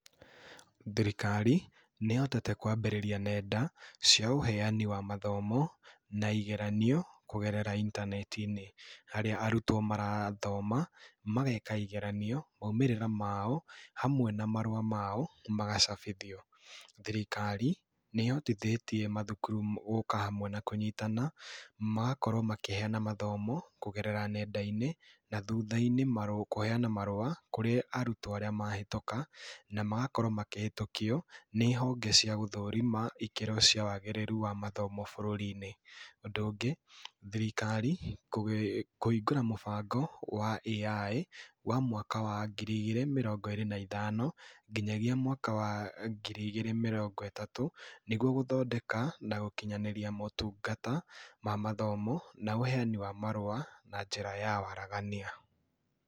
Thirikari nĩhotete kwambĩrĩria nenda cia ũheani wa mathomo na igeranio kũgerera intaneti-inĩ harĩa arutwo marathoma, mageka igeranio, maumĩrĩra mao hamwe na marũa mao magacabithio. Thirikari nĩhotithĩtie mathukuru m gũũka hamwe na kũnyitana, magakorwo makĩheana mathomo kũgerera nenda-inĩ, na thutha-inĩ mar kũheyana marũa kũrĩ arutwo arĩa mahĩtũka, na magakorwo makĩhĩtũkio nĩ honge cia gũthũrima ikĩro cia wagĩrĩru wa mathomo bũrũri-inĩ. Ũndũ ũngĩ thirikri, kũ kũhingũra mũbango wa AI wa mwaka wa ngiri igĩrĩ na mĩrongo ĩrĩ na ĩthano nginyagia mwaka wa ngiri igĩrĩ mĩrongo ĩtatũ, nĩguo gũthondeka na gũkinyanĩria motungata ma mathomo na ũheyani wa marũa na njĩra ya waragania.